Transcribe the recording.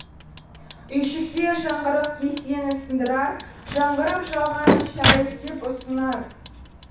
үйшікте жаңғырық кесені сындырар жаңғырып жалғаны шәй іш деп ұсынар